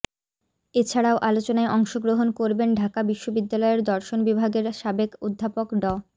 এছাড়াও আলোচনায় অংশগ্রহণ করবেন ঢাকা বিশ্ববিদ্যালয়ের দর্শন বিভাগের সাবেক অধ্যাপক ড